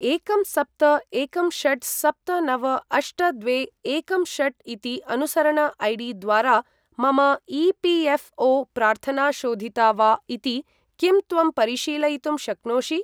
एकं सप्त एकं षट् सप्त नव अष्ट द्वे एकं षट् इति अनुसरण ऐ.डी.द्वारा मम ई.पी.एफ़्.ओ.प्रार्थना शोधिता वा इति किं त्वं परिशीलयितुं शक्नोषि?